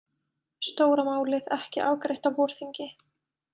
Stóra málið ekki afgreitt á vorþingi